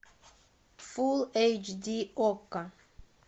фул эйч ди окко